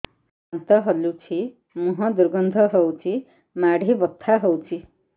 ଦାନ୍ତ ହଲୁଛି ମୁହଁ ଦୁର୍ଗନ୍ଧ ହଉଚି ମାଢି ବଥା ହଉଚି